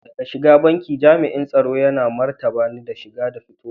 Da shigar banki, jam'in tsaro yana marabta na shiga da fitowa.